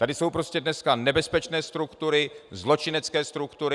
Tady jsou prostě dneska nebezpečné struktury, zločinecké struktury.